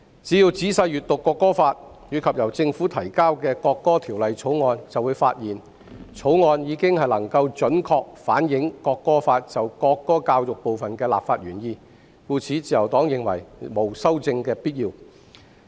只要仔細閱讀《國歌法》，以及由政府提交的《條例草案》，便會發現《條例草案》已經能夠準確反映《國歌法》就國歌教育部分的立法原意，故此，自由黨認為沒有修正的必要。